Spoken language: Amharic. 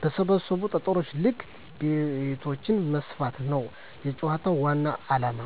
በሰበሰቡት ጠጠር ልክ ቤቶችን መስፋት ነዉ የጨዋታዉ ዋናዉ አላማ።